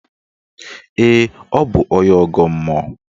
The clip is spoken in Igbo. Ee, ọ bụ onye ọgọ mmụọ